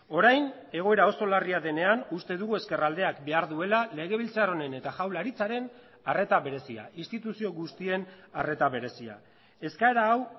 orain egoera oso larria denean uste dugu ezkerraldeak behar duela legebiltzar honen eta jaurlaritzaren arreta berezia instituzio guztien arreta berezia eskaera hau